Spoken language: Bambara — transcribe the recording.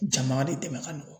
Jama de dɛmɛ ka nɔgɔn.